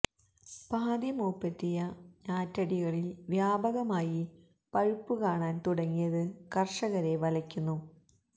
പാതി മുപ്പെത്തിയ ഞാറ്റടികളില് വ്യാപകമായി പഴുപ്പ് കാണാന് തുടങ്ങിയത് കര്ഷകരെ വലയ്ക്കുന്നു